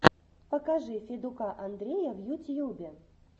покажи федука андрея в ютьюбе